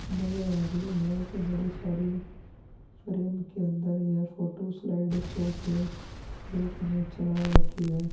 नज़र आरही है यह एक बड़ी सारी फ्रेम के अंदर यह फोटो स्लाइड शो के में चला रखी है।